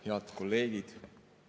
Head kolleegid!